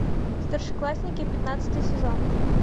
старшеклассники пятнадцатый сезон